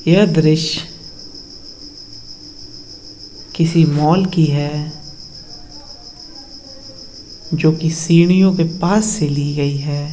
यह द्रुष्य किसी माल की हैं जोकि सीढ़ियों के पास से ली गई हैं।